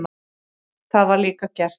Það var líka gert.